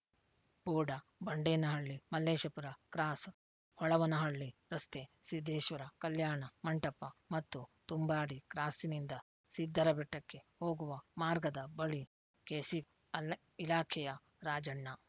ಬೋಡ Bandenahalli Malleshapura cross Holavanahalli ರಸ್ತೆ ಸಿದ್ದೇಶ್ವರ ಕಲ್ಯಾಣ ಮಂಟಪ ಮತ್ತು ತುಂಬಾಡಿ ಕ್ರಾಸ್ಸಿನಿಂದ ಸಿದ್ದರಬೆಟ್ಟಕ್ಕೆ ಹೋಗುವ ಮಾರ್ಗದ ಬಳಿ ಕೆಶಿಪ್ ಇಲಾಖೆಯ ರಾಜಣ್ಣ